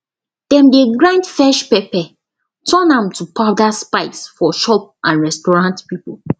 dem dey grind fresh pepper turn am to powder spice for shop and restaurant people